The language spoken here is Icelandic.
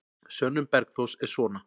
Sönnun Bergþórs er svona: